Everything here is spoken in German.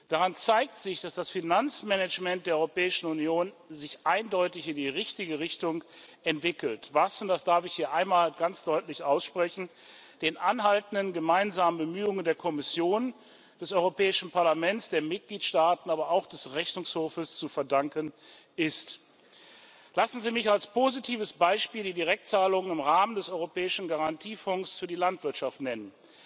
Daran zeigt sich, dass das Finanzmanagement der Europäischen Union sich eindeutig in die richtige Richtung entwickelt, was und das darf ich hier einmal ganz deutlich aussprechen den anhaltenden gemeinsamen Bemühungen der Kommission, des Europäischen Parlaments, der Mitgliedstaaten, aber auch des Rechnungshofs zu verdanken ist. Lassen Sie mich als positives Beispiel die Direktzahlungen im Rahmen des Europäischen Garantiefonds für die Landwirtschaft nennen,